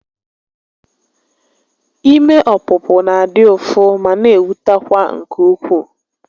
Ime ọpụpụ na adị ụfụ ma n'ewutekwa nke ukwuu